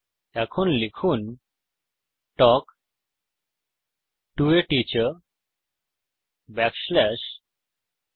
এখন লিখুন talk to a teacher backslash ন